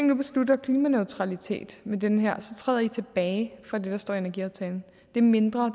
nu beslutter klimaneutralitet med det her så træder i tilbage fra det der står i energiaftalen det er mindre og